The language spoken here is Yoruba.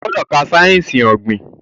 Ogbodo ká sáyẹnsì ogbin!